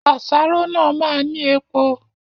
Àsáró náà máa ni epo